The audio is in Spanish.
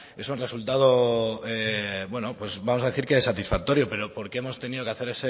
es un resultado bueno pues vamos a decir satisfactorio pero porque hemos tenido que hacer